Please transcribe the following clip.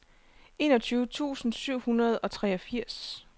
enogtyve tusind syv hundrede og treogfirs